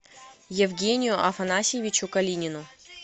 евгению афанасьевичу калинину